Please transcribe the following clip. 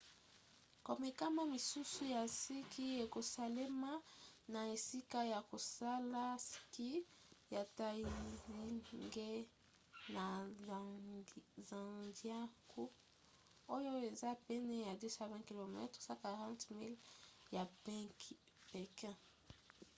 komekama misusu ya ski ekosalema na esika ya kosala ski ya taizicheng na zhangjiakou oyo eza pene ya 220 km 140 miles ya pékin